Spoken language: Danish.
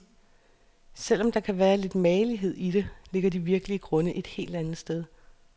Selv om der kan være lidt magelighed i det, ligger de virkelige grunde et helt andet sted.